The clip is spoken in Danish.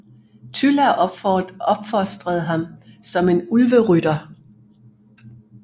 Tylla opfostrede ham som en Ulverytter